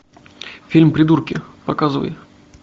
фильм придурки показывай